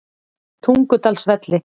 Tungudalsvelli